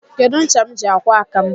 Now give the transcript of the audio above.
Kedu ncha m ji akwọ aka m?